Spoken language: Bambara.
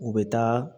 U bɛ taa